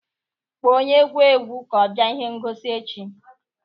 Kpọọ onye egwu egwu ka ọ bịa ihe ngosi echi